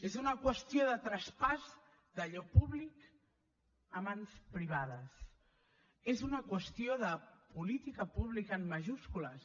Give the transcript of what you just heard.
és una qüestió de traspàs d’allò públic a mans privades és una qüestió de política pública en majúscules